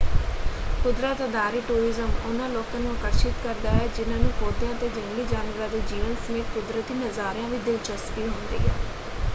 ਕੁਦਰਤ-ਅਧਾਰਿਤ tourism ਉਹਨਾਂ ਲੋਕਾਂ ਨੂੰ ਆਕਰਸ਼ਿਤ ਕਰਦਾ ਹੈ ਜਿਨ੍ਹਾਂ ਨੂੰ ਪੌਦਿਆਂ ਅਤੇ ਜੰਗਲੀ ਜਾਨਵਰਾਂ ਦੇ ਜੀਵਨ ਸਮੇਤ ਕੁਦਰਤੀ ਨਜ਼ਾਰਿਆਂ ਵਿੱਚ ਦਿਲਚਸਪੀ ਹੁੰਦੀ ਹੈ।